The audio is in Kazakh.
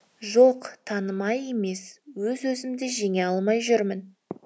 жоқ танымай емес өз өзімді жеңе алмай жүрмін